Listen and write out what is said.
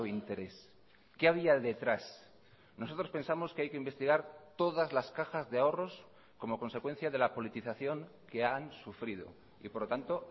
interés qué había detrás nosotros pensamos que hay que investigar todas las cajas de ahorros como consecuencia de la politización que han sufrido y por lo tanto